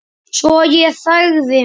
Svo ég þagði.